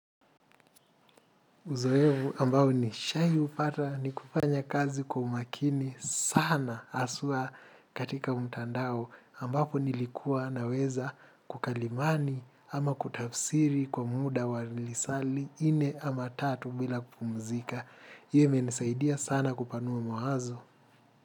Uzoefu ambao nishai upata ni kufanya kazi kwa umakini sana haswa katika mtandao ambapo nilikuwa naweza kukalimani ama kutafsiri kwa muda wa lilisali ine ama tatu bila kupumzika. Hiyo imenisaidia sana kupanua mawazo.